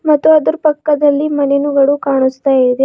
ಮತ್ತು ಆದ್ರು ಪಕ್ಕದಲ್ಲಿ ಮನೆನುಗಳು ಕಾಣುಸ್ತಾ ಇದೆ.